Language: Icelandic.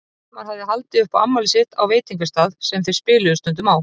Hilmar hafði haldið upp á afmælið sitt á veitingastað sem þeir spiluðu stundum á.